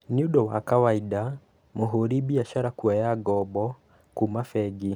Nĩũndũ wa kawaida mũhũri biacara kuoya ngombo kuma bengi